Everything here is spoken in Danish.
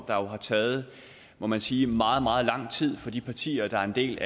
taget må man sige meget meget lang tid for de partier der er en del